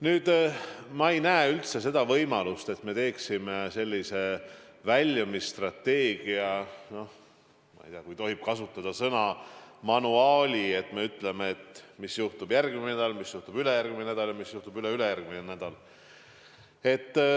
Nüüd, ma ei näe üldse võimalust, et me teeksime sellise väljumisstrateegia, noh, ma ei tea, vahest tohib kasutada sõna "manuaali", et me ütleme täna, mis juhtub järgmine nädal, mis juhtub ülejärgmine nädal ja mis juhtub üleülejärgmine nädal.